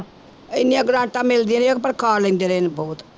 ਇੰਨੀਆਂ ਗ੍ਰਾਂਟਾਂ ਮਿਲਦੀਆਂ ਰਹੀਆਂ ਪਰ ਖਾ ਲੈਂਦੇ ਨੇ ਬਹੁਤ